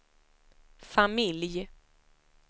familj